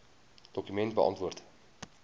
dokument beantwoord